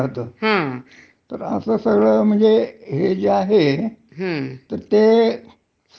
हो बरोबर आहे. तुमची कार्यक्षमता तुमच्यातल ते कौशल्य हं ह्या सगळ्यावरही ते निर्भर करत, म्हणजे हा, हा